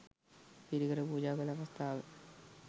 පිරිකර පූජා කළ අවස්ථාව